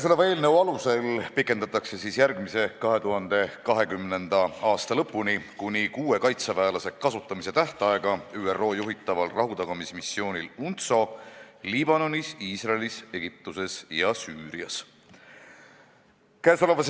Kõnesoleva eelnõu alusel pikendatakse järgmise, 2020. aasta lõpuni kuni kuue kaitseväelase kasutamise tähtaega ÜRO juhitaval rahutagamismissioonil UNTSO Liibanonis, Iisraelis, Egiptuses ja Süürias.